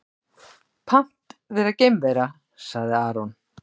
Pant vera geimvera, sagði Aron.